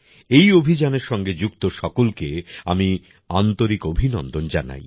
এই অভিযানের সঙ্গে যুক্ত সকলকে আমি আন্তরিক অভিনন্দন জানাই